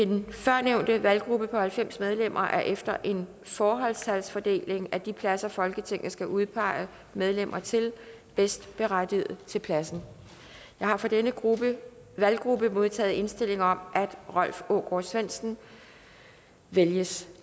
den førstnævnte valggruppe på halvfems medlemmer er efter en forholdstalsfordeling af de pladser folketinget skal udpege medlemmer til bedst berettiget til pladsen jeg har fra denne valggruppe modtaget indstilling om at rolf aagaard svendsen vælges